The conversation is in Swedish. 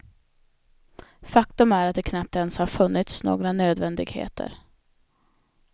Faktum är att det knappt ens har funnits några nödvändigheter.